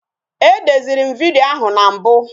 E deziri m vidiyo ahụ na mbụ